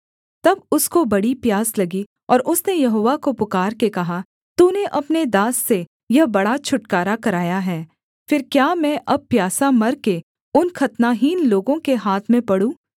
तब उसको बड़ी प्यास लगी और उसने यहोवा को पुकारके कहा तूने अपने दास से यह बड़ा छुटकारा कराया है फिर क्या मैं अब प्यासा मर के उन खतनाहीन लोगों के हाथ में पड़ूँ